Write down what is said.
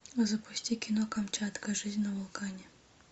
запусти кино камчатка жизнь на вулкане